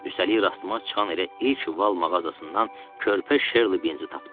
Üstəlik rastıma çıxan elə ilk val mağazasından körpə Sherli Binzi tapdım.